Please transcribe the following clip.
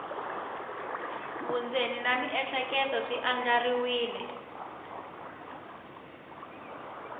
vundzeni na miehleketo swi andlariwile